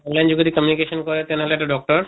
online যোগেদি communication কৰে তেনে হʼলে এটা doctor